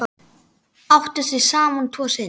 Áttu þau saman tvo syni.